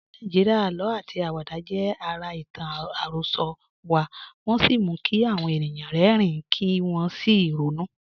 Ní Nàìjíríà, àlọ́ àti àwàdà jẹ́ ara ìtàn àròsọ wa, wọ́n sì mú kí àwọn ènìyàn rẹ́rìn-ín kí wọ́n sì ronú.